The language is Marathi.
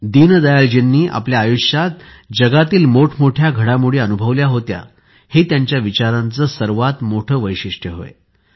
दीनदयाळजींनी आपल्या आयुष्यात जगातील मोठमोठ्या घडामोडी अनुभवल्या होत्या हे त्यांच्या विचारांचे सर्वात मोठे वैशिष्ट्य होय